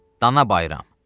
Dana bayram.